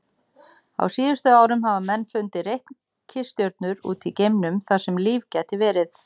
Á síðustu árum hafa menn fundið reikistjörnur út í geimnum þar sem líf gæti verið.